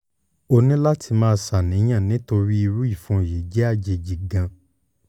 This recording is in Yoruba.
o ní láti máa ṣàníyàn nítorí irú ìfun yìí jẹ́ irú àjèjì gan-an